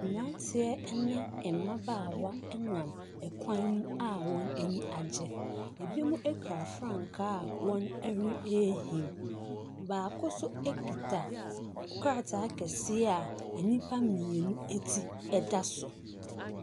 Mmaranteɛ ɛne mmabaawa ɛnam ɛkwan mu a wɔn ani agye ebinom ekura frankaa a wɔn ɛreehim baako so ekuta krataa kɛseɛ a enipa mmienu etu ɛda so.